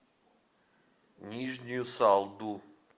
нижнюю салду